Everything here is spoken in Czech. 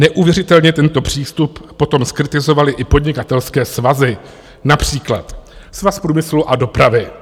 Neuvěřitelně tento přístup potom zkritizovaly i podnikatelské svazy, například Svaz průmyslu a dopravy.